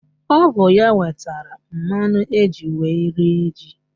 Ọ bụ ya wetara mmanụ eji wee rie ji